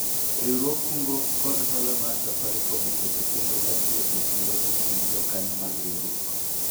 riwruog kungo kod hola mar safarikom oketo chenro mar tieko tulo e kind jokanyo mag riwruok